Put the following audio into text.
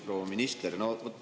Proua minister!